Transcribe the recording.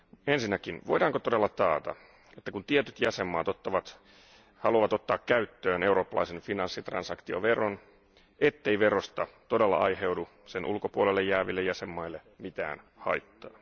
Ensinnäkin voidaanko todellakin taata, että kun tietyt jäsenvaltiot haluavat ottaa käyttöön eurooppalaisen finanssitransaktioveron, ettei verosta todella aiheudu sen ulkopuolelle jääville jäsenvaltioille mitään haittaa.